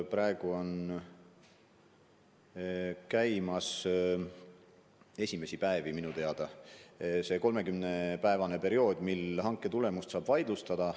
Praegu on minu teada esimesi päevi jooksmas see 30-päevane periood, mille jooksul hanke tulemust saab vaidlustada.